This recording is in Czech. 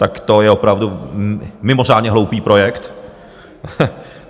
Tak to je opravdu mimořádně hloupý projekt.